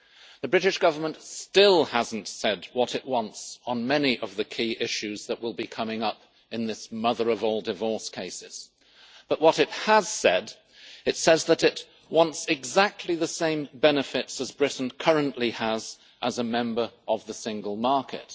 The British Government still has not said what it wants on many of the key issues that will be coming up in this mother of all divorce cases, but it has said that it wants exactly the same benefits as Britain currently has as a member of the single market.